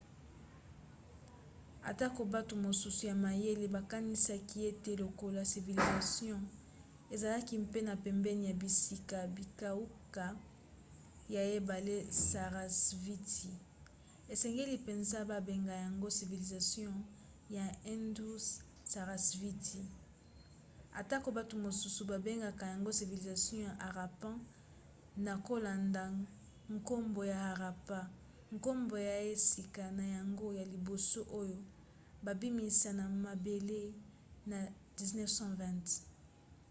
atako bato mosusu ya mayele bakanisaka ete lokola civilisation ezalaki mpe na pembeni ya bisika bikauka ya ebale sarasvati esengeli mpenza babenga yango civilisation ya indus-sarasvati atako bato mosusu babengaka yango civilisation ya harappan na kolanda nkombo ya harappa nkombo ya esika na yango ya liboso oyo babimisa na mabele na 1920